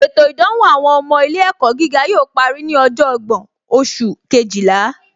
Ètò ìdánwò àwọn ọmọ ilé ẹ̀kọ́ gíga yóò parí ní ọjọ́ ọgbọ́n oṣù Kejìlá